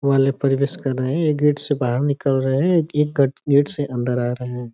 वाले प्रवेश कर रहे हैं। यह गेट से बाहर निकल रहे हैं। यह गेट से अंदर आ रहे हैं।